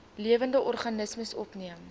lewende organismes opgeneem